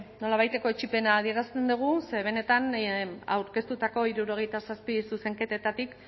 nolabaiteko etsipena adierazten dugu ze benetan aurkeztutako hirurogeita zazpi zuzenketetatik